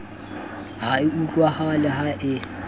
ha e utlwahale ha e